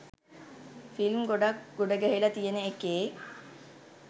film ගොඩක් ගොඩ ගැහිල තියෙන එකේ